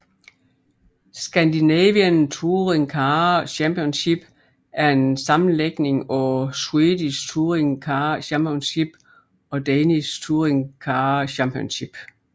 Scandinavian Touring Car Championship er en sammenlægning af Swedish Touring Car Championship og Danish Touringcar Championship